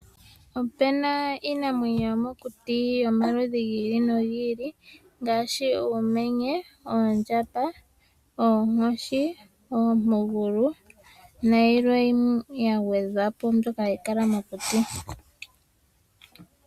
Opena iinamwenyo yomokuti yomaludhi gi ili nogi ili ngaashi uumenye, oondjamba, oonkoshi, oompugulu nayilwe ya gwedhwapo mbyoka ya kala mokuti.